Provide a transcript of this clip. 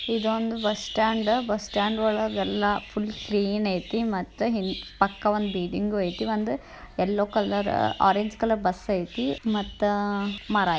ಇದು ಒಂದು bus stand bus stand ಒಳಗೆಲ್ಲ ಫುಲ್ ಕ್ಲೀನ್ ಏತಿ ಮತ್ತು ಪಕ್ಕ ಒಂದು ಬಿಲ್ಡಿಂಗು ಏತಿ ಒಂದ yellow colour orange colour bus ಏತಿ ಮತ್ತ--